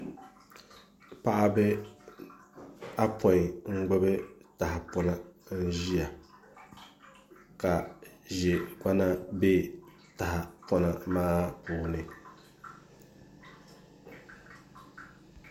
Paɣaba apoin n gbubi tahapona n ʒiya ka ʒɛ gbana bɛ tahapona maa puuni